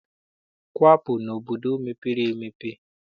Kwapụ n'obodo mepere emepe!